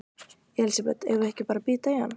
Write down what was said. Elísabet: Eigum við ekki bara að bíta í hann?